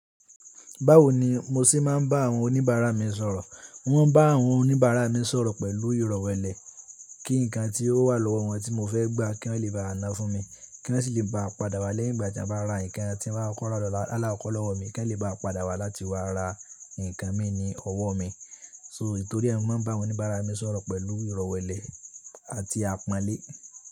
Báwo ni mo ṣé máa ń bá àwọn oníbàárà mi sọ̀rọ̀? Mo ń bá àwọn oníbàárà mi sọ̀rọ̀ pẹ̀lú ìrọ̀wẹ́lẹ̀. Kí ǹkan tí ó wà lọ́wọ́ wọn tí mo fẹ́ gbà kí wọ́n le bá ná fún mi, kí wọ́n sì lè bá a padà wá lẹ́yìn ìgbà tí a bá ra ǹkan tí wọn bá kó lọ́wọ́ mi, kí wọ́n lè bá a padà wá láti wá ra ǹkan mi ní ọwọ́ mi. So, nítorí ẹni mó ń bá oníbàárà mi sọ̀rọ̀ pẹ̀lú ìrọ̀wẹ́lẹ̀ àti àpọ́nlé.